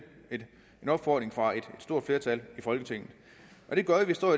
en opfordring fra et stort flertal i folketinget det gør at vi står